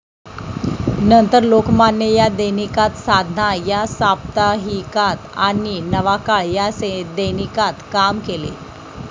नंतर लोकमान्य या दैनिकात साधना या साप्ताहिकात आणि नवाकाळ या दैनिकात काम केले